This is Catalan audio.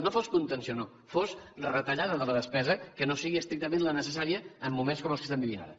no fos contenció no fos retallada de la despesa que no sigui estrictament la necessària en moments com els que estem vivint ara